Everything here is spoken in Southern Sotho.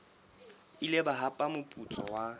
ile ba hapa moputso wa